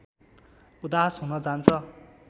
उदास हुन जान्छ